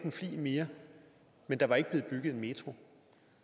en flig mere men der var ikke blevet bygget en metro